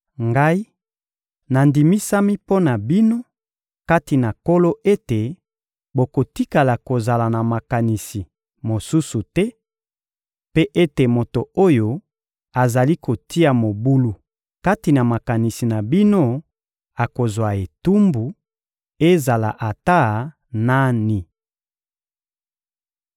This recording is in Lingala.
Ngai nandimisami mpo na bino kati na Nkolo ete bokotikala kozala na makanisi mosusu te; mpe ete moto oyo azali kotia mobulu kati na makanisi na bino akozwa etumbu, ezala ata nani.